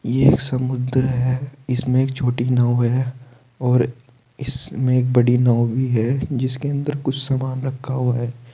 ये एक समुद्र है इसमें एक छोटी नाव है और इसमें एक बड़ी नाव भी है जिसके अंदर कुछ सामान रखा हुआ है।